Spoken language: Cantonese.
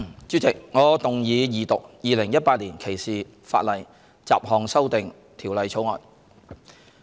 主席，我動議二讀《2018年歧視法例條例草案》。